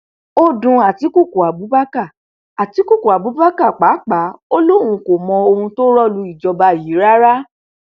ó dun àtikukú abubakar àtikukú abubakar pàápàá ò lóun kò mọ ohun tó rọ lu ìjọba yìí rárá